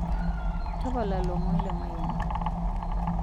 tapala lomon lemayian